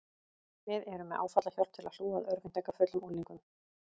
Við erum með áfallahjálp til að hlúa að örvæntingarfullum unglingum.